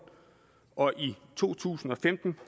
og i to tusind og femten